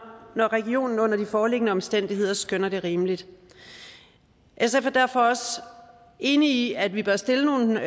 når regionen under de foreliggende omstændigheder skønner det rimeligt sf er derfor også enige i at vi bør stille nogle